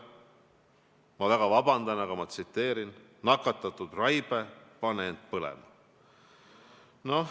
Ma palun väga vabandust, ma tsiteerin: "Nakatunud raibe, pane end põlema!